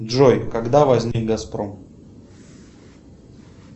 джой когда возник газпром